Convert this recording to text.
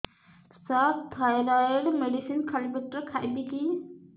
ସାର thyroid medicine ଖାଲି ପେଟରେ ଖାଇବି କି